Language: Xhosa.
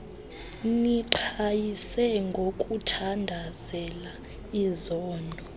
niqhayise ngokuthandazela izono